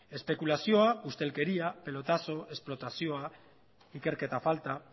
espekulazioa ustelkeria pelotazo esplotazioa ikerketa falta